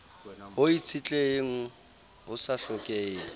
ho itshetleheng ho sa hlokeheng